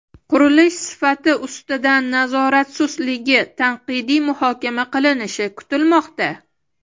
qurilish sifati ustidan nazorat sustligi tanqidiy muhokama qilinishi kutilmoqda.